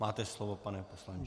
Máte slovo, pane poslanče.